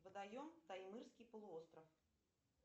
водоем таймырский полуостров